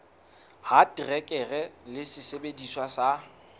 ya terekere le sesebediswa sa